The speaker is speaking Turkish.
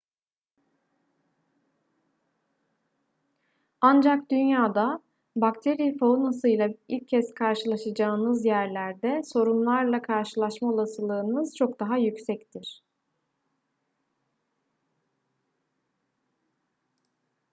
ancak dünyada bakteri faunasıyla ilk kez karşılaşacağınız yerlerde sorunlarla karşılaşma olasılığınız çok daha yüksektir